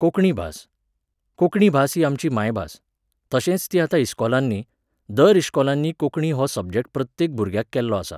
कोंकणी भास. कोंकणी भास ही आमची मायभास. तशेंच ती आतां इश्कोलांनी, दर इश्कोलांनी कोंकणी हो सबजॅक्ट प्रत्येक भुरग्याक केल्लो आसा